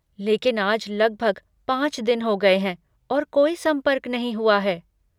लेकिन आज लगभग पाँच दिन हो गए हैं और कोई संपर्क नहीं हुआ है।